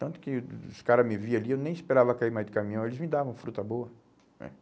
Tanto que os caras me viam ali, eu nem esperava cair mais de caminhão, eles me davam fruta boa, né?